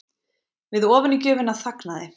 Við ofanígjöfina þagnaði